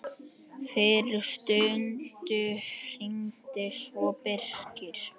Fyrir stuttu hringdi svo Birkir.